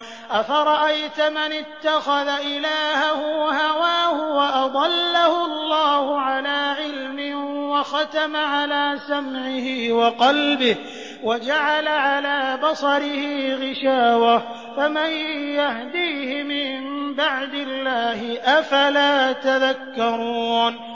أَفَرَأَيْتَ مَنِ اتَّخَذَ إِلَٰهَهُ هَوَاهُ وَأَضَلَّهُ اللَّهُ عَلَىٰ عِلْمٍ وَخَتَمَ عَلَىٰ سَمْعِهِ وَقَلْبِهِ وَجَعَلَ عَلَىٰ بَصَرِهِ غِشَاوَةً فَمَن يَهْدِيهِ مِن بَعْدِ اللَّهِ ۚ أَفَلَا تَذَكَّرُونَ